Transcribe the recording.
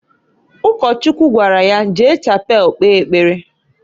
Ụkọchukwu gwara ya, "Jee Chapel kpee ekpere!"